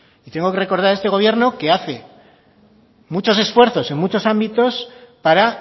tengo que recordar a este gobierno que hace muchos esfuerzos en muchos ámbitos para